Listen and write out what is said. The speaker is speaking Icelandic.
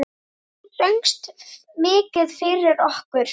Þú söngst mikið fyrir okkur.